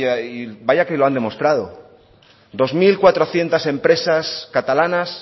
y vaya que lo han demostrado dos mil cuatrocientos empresas catalanas